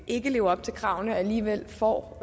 ikke lever op til kravene alligevel får